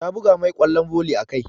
Ta buga mai ƙwallon volley a kai.